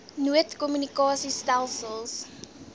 nood kommunikasie stelsels